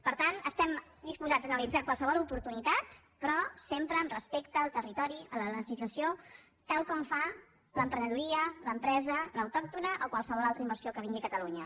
per tant estem disposats a analitzar qualsevol oportunitat però sempre amb respecte al territori a la legislació tal com fa l’emprenedoria l’empresa l’autòctona o qualsevol altra inversió que vingui a catalunya